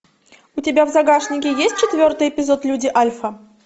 у тебя в загашнике есть четвертый эпизод люди альфа